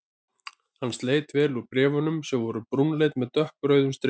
Hann sletti vel úr bréf- unum sem voru brúnleit með dökkrauðum strikum.